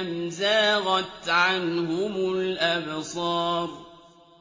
أَمْ زَاغَتْ عَنْهُمُ الْأَبْصَارُ